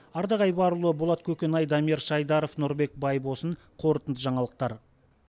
ардақ айбарұлы болат көкенай дамир шайдаров нұрбек байбосын қорытынды жаңалықтар